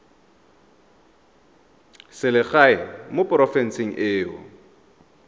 selegae mo porofenseng e o